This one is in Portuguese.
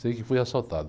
Sei que fui assaltado.